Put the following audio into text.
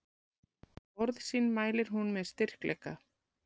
Orð sín mælir hún með styrkleika.